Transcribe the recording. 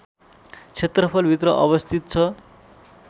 क्षेत्रफल भित्र अवस्थित छ